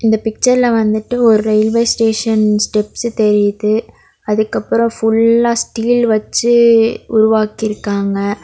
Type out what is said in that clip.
இந்த பிக்சர்ல வந்துட்டு ஒரு ரயில்வே ஸ்டேஷன் ஸ்டெப்ஸ் தெரியுது. அதுக்கப்புறம் ஃபுல்லா ஸ்டீல் வச்சு உருவாக்கியிருக்காங்க.